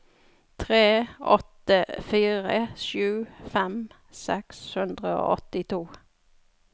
tre åtte fire sju tjuefem seks hundre og åttito